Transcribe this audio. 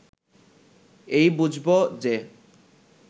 এই বুঝব যে